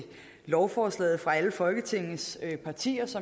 lovforslaget fra alle folketingets partiers